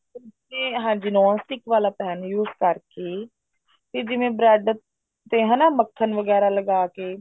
ਹਾਂਜੀ non stick ਵਾਲਾ pan use ਕਰਕੇ ਇਹ ਜਿਵੇਂ bread ਤੇ ਹਨਾ ਮੱਖਣ ਵਗੈਰਾ ਲਗਾਕੇ